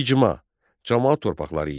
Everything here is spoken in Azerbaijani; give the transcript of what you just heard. İcma, camaat torpaqları idi.